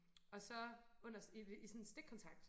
Og så under i i sådan en stikkontakt